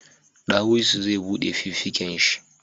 Dawisu zai bude fuffiken shi